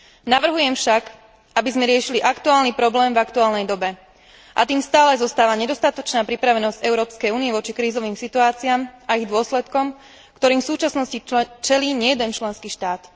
Navrhujem však, aby sme riešili aktuálny problém v aktuálnej dobe, a tým stále zostáva nedostatočná pripravenosť Európskej únie voči krízovým situáciám a ich dôsledkom, ktorým v súčasnosti čelí nejeden členský štát.